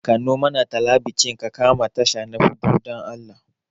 Kanno mana talabijin ka kama tasha ta huɗu, dan Allah.